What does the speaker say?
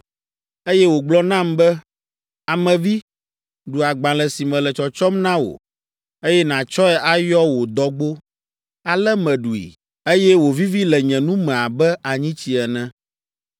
Eye wògblɔ nam be, “Ame vi, ɖu agbalẽ si mele tsɔtsɔm na wò, eye nàtsɔe ayɔ wò dɔgbo.” Ale meɖui, eye wòvivi le nye nu me abe anyitsi ene.